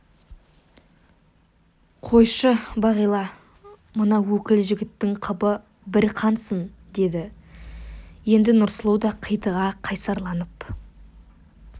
қойшы бағила мына өкіл жігіттің қыбы бір қансын деді енді нұрсұлу да қитыға қайсарланып